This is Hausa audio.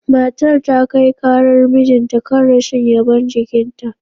Matar ta kai karar mijinta kan rashin yabon jikinta.